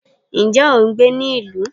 nje o n gbé ni ilu?